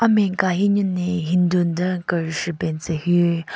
Amen ka hi nyu ne hindu nden kereshvu ben tsü hyu.